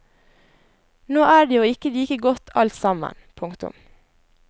Nå er det jo ikke like godt alt sammen. punktum